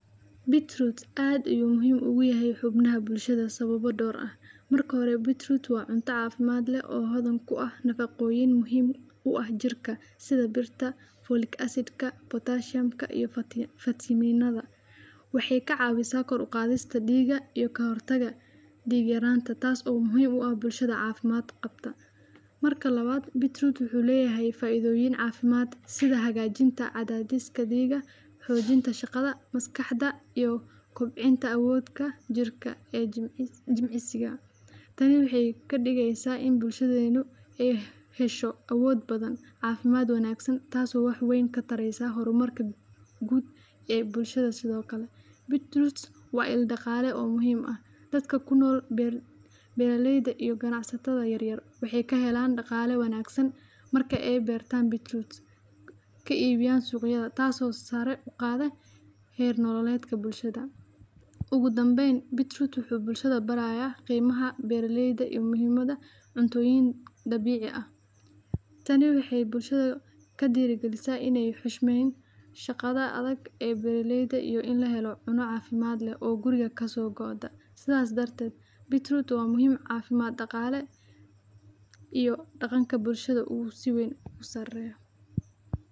Betroot aad ayuu muhiim ogu yahay xubnaha bulshada sababo dhowr ah marka hore betroot waa cunta cafimd leh oo hodan ku ah nafaqoyin muhim u ah jirka sida birta, rolic acid , pottacium iyo vitaminada wexey ka cawisaa kor uqadista dhiiga iyo ka hortaga dhiig yaranta tas oo muhiim u ah bulshada cafimad qabta marka labaad betroot wuxu leyahay faidoyin cafimad sida hagajinta cadadista dhiga xojinta shaqada maskaxda iyo kobcinta awooda jirka ee jimicsiga tan wexey kadhigeysa in bulshadenu ey hesho awod badan cafimad wngsn tas oo wax weyn katareyso hormarka guud ee ee bulshada sidokale betroot waa il daqale oo muhiim u ah dadka kunol beralkeyda iyo ganacsatada yaryar wexey kahelan daqale wanagsan marka ey bertan betroot ka ibiyan suqyada taas oo sare uqaada her nololedka bulshada ogu damben betroot wuxu bulshada barayaa qimaha beraleyda iyo muhimada cuntoyin dabici ah tani wexey bulshada kadirigalisa iney xushmeyn shaqada adag ee beraleyda iyo in lahelo cuno cafimad leh oo guriga kaso go de sidas darted betroot waa muhim cafimad daqale iyo daqanka bulshada inuu si weyn usareyo.